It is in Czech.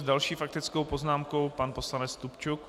S další faktickou poznámkou pan poslanec Stupčuk.